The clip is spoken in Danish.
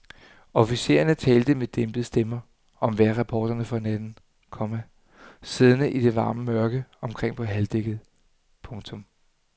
Officererne talte med dæmpede stemmer om vejrrapporterne for natten, komma siddende i det varme mørke omkring på halvdækkket. punktum